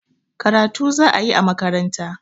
Karatu za a yi a makaranta